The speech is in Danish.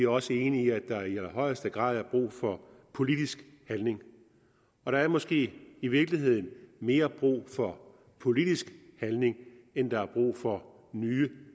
også enige i at der i allerhøjeste grad er brug for politisk handling og der er måske i virkeligheden mere brug for politisk handling end der er brug for nye